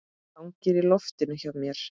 Hangir í loftinu hjá mér.